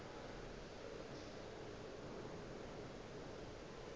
go be go na le